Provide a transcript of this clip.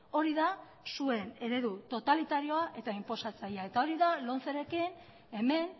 hori da zuen eredu totalitarioa eta inposatzailea eta hori da lomcerekin hemen